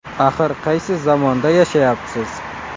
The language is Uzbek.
Axir qaysi zamonda yashayapsiz?